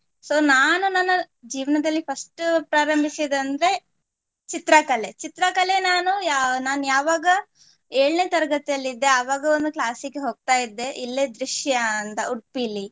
So ನಾನು ನನ್ನ ಜೀವನದಲ್ಲಿ first ಪ್ರಾರಂಭಿಸಿದಂದ್ರೆ ಚಿತ್ರಕಲೆ. ಚಿತ್ರಕಲೆ ನಾನು ಯಾ~ ನಾನ್ ಯಾವಾಗ ಏಳನೇ ತರಗತಿಗೆಯಲ್ಲಿದ್ದೆ ಆವಾಗ class ಗೆ ಹೋಗ್ತಾ ಇದ್ದೆ ಇಲ್ಲೇ ತ್ರಿಷ್ಯಾ ಅಂತ ಉಡುಪಿಲಿ.